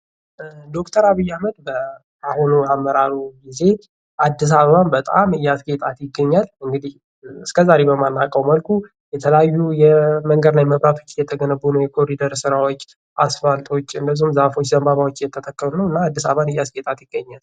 ዶክተር አብይ አህመድ በአሁኑ አመራሩ ጊዜ አዲስ አበባን በጣም እያስጌጣት ይገኛል ::እንግዲህ እስከ ዛሬ በማናውቀው መልኩ የተለያዩ የመንገድ ላይ መብራቶች የተገነቡ ነው :: የኮሊደር ስራዎች አስፋልቶች እንዲሁም ዛፎች ዘንባባዎች እየተተከሉ ነው እና አዲስ አበባን እያስጌጣት ይገኛል ::